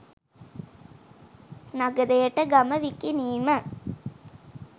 නගරයට ගම විකිණීම